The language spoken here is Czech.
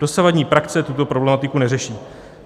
Dosavadní praxe tuto problematiku neřeší.